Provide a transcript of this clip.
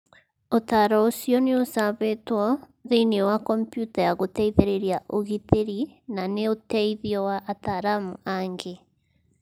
Ũtaaro ũcio nĩ ũcabĩtwo thĩinĩ wa kompiuta ya gũteithĩrĩria ũgitĩri na nĩ ũteithio wa ataaramu angĩ.